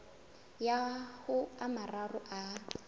ya ho a mararo a